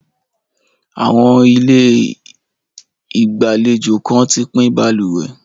Àwọn ilé ìgbàlejò kan ti pín balùwẹ̀.